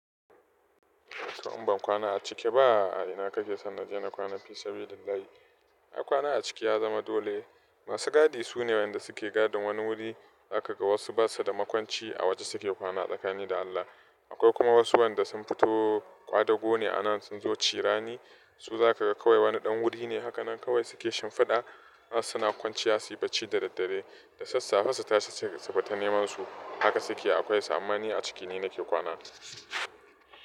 To! In ban kwana a ciki ba a ina kake son na je na kwana fisabilillahi. Ai kwana a ciki ya zama dole. Masu gadi sune wayanda suke gadin wani wuri, za ka ga wasu ba su da makwanci a waje suke kwana tsakani da Allah. Akwai kuma wasu wanda sun fito kwadago ne anan sun zo cirani, su za ka ga kawai wani ɗan wuri ne, haka nan kawai suke shimfiɗa har suna kwanciya suyi bacci da daddare. Da sassafe su tashi su fita neman su, haka suke akwai sa. Amma ni a ciki ne nake kwana.